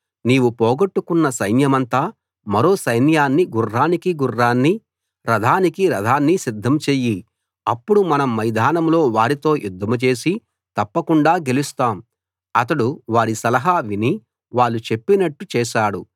నీవు పోగొట్టుకున్న సైన్యమంత మరో సైన్యాన్నీ గుర్రానికి గుర్రాన్నీ రథానికి రథాన్నీ సిద్ధం చెయ్యి అప్పుడు మనం మైదానంలో వారితో యుద్ధం చేసి తప్పకుండా గెలుస్తాం అతడు వారి సలహా విని వాళ్ళు చెప్పినట్టు చేశాడు